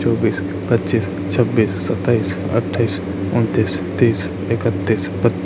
चौबीस पचिश छब्बीस सताइश अठ्ठाइस उन्तीस तीस एकत्तीस बत्त --